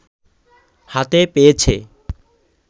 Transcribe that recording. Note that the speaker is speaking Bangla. হাতে পেয়েছে